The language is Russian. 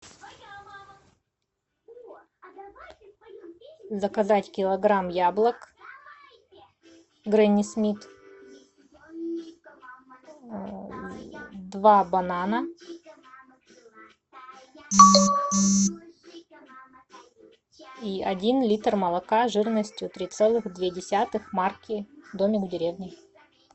заказать килограмм яблок гренни смит два банана и один литр молока жирностью три целых две десятых марки домик в деревне